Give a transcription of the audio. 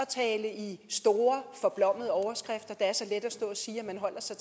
tale i store forblommede overskrifter det er så let at stå og sige at man holder sig